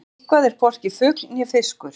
Eitthvað er hvorki fugl né fiskur